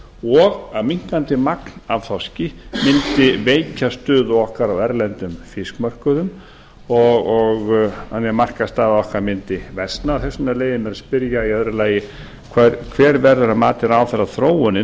og að minnkandi magn af þorski mundi veikja stöðu okkar á erlendum fiskmörkuðum þannig að markaðsstaða okkar mundi versna þess vegna leyfi ég mér að spyrja í öðru lagi annar hver verður þróunin að mati ráðherra